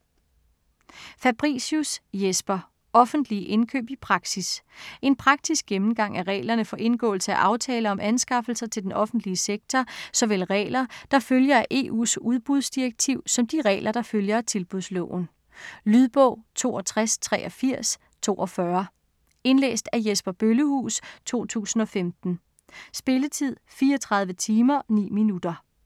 Fabricius, Jesper: Offentlige indkøb i praksis En praktisk gennemgang af reglerne for indgåelse af aftaler om anskaffelser til den offentlige sektor, såvel regler, der følger af EU's udbudsdirektiv, som de regler, der følger af Tilbudsloven. Lydbog 628342 Indlæst af Jesper Bøllehuus, 2015. Spilletid: 34 timer, 9 minutter.